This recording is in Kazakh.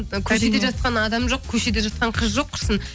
көшеде жатқан адам жоқ көшеде жатқан қыз жоқ құрысын